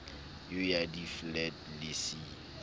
eo ya diflete le c